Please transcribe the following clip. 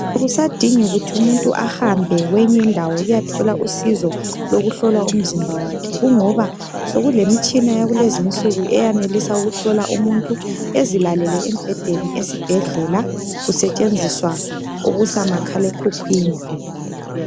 Akusadingi kuthi umuntu ahambe kweyinye indawo ukuyathola usizo lokuhlolwa umzimba wakhe kungoba sokulemitshina yakulezinsuku eyanelisa ukuhlola umuntu ezilalele embhedeni esibhedlela kusetshenziswa okusa makhalekhukhwini